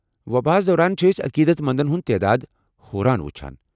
وباہس دوران چھ أسۍ، عقیدت مندن ہُنٛد تعداد ہُران وُچھان۔